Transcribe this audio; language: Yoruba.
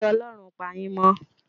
Kí Ọlọ́run pà yín mó o